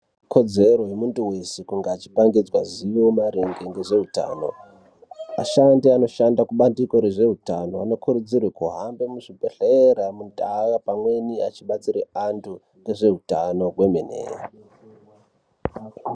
Kodzero yemuntu weshekupangidzwa zivo maringe ngezveutano vashandi vanoshanda kubandiko rezveutano vanokurudzirwa kuhamba muzvibhehleya vachidetsera vantu ngezveutano kwemene.